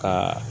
Ka